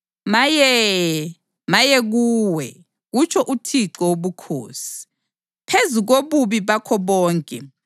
Maye! Maye kuwe, kutsho uThixo Wobukhosi. Phezu kobubi bakho bonke,